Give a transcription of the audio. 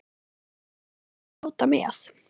Ég fékk að fljóta með.